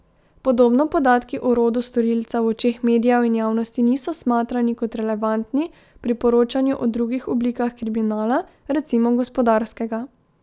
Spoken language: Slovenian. Podobno podatki o rodu storilca v očeh medijev in javnosti niso smatrani kot relevantni pri poročanju o drugih oblikah kriminala, recimo gospodarskega.